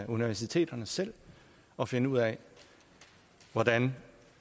universiteterne selv at finde ud af hvordan